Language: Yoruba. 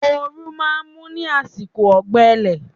Oòrùn máa ń mú ní àsìkò ọ̀gbẹlẹ̀